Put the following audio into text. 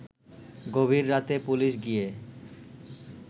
গভীর রাতে পুলিশ গিয়ে